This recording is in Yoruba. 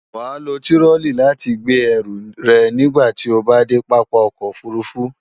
Wàá lo tirọlí láti gbé ẹrù rẹ̀ nígbàti o bá dé Pápá ọkọ̀ òfurufú